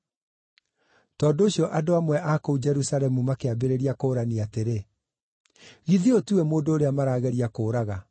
Tondũ ũcio andũ amwe a kũu Jerusalemu makĩambĩrĩria kũũrania atĩrĩ, “Githĩ ũyũ tiwe mũndũ ũrĩa marageria kũũraga?